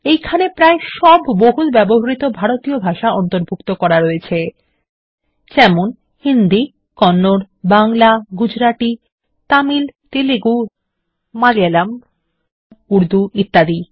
এইখানে প্রায় সব বহুল ব্যবহৃত ভারতীয় ভাষা অন্তর্ভুক্ত রয়েছে যেমন হিন্দি কন্নড বাংলা গুজরাটি তামিল তেলুগু মালায়ালমউর্দু ইত্যাদি